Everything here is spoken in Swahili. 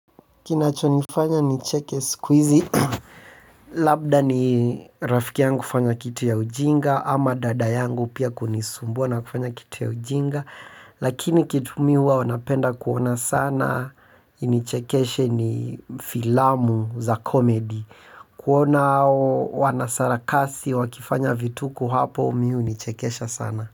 Kinachonifanya nicheke siku hizi labda ni rafiki yangu fanya kitu ya ujinga ama dada yangu pia kunisumbua na kufanya kitu ya ujinga. Lakini kitu mi huwa wanapenda kuona sana. Inichekeshe ni filamu za komedi. Kuona wanasarakasi wakifanya vituko hapo mi hu nichekesha sana.